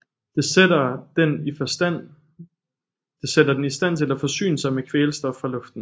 Det sætter den i stand til at forsyne sig med kvælstof fra luften